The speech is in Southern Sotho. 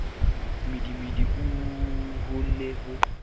mmidimidi oo ho ne ho